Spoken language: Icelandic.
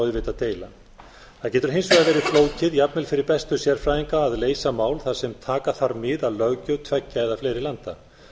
auðvitað deila það getur hins vegar verið flókið jafnvel fyrir bestu sérfræðinga að leysa mál þar sem taka þarf mið af löggjöf tveggja eða fleiri landa